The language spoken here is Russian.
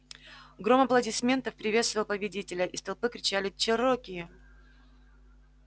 гром аплодисментов приветствовал победителя из толпы кричали чероки